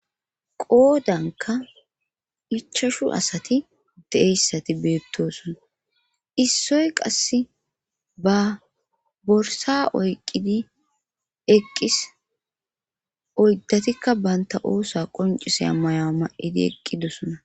qoodanka ichashu asati deeyssati beettosona issoy qasse ba borsa oyqidi eqqis oyddatikka baynta oosa qoncise amaya ma7idi eqqidosona